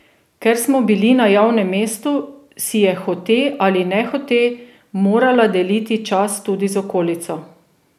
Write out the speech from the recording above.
Ker smo bili na javnem mestu, si je hote ali nehote morala deliti čas tudi z okolico.